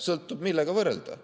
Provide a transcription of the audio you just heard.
Sõltub, millega võrrelda.